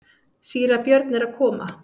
Síra Björn er að koma!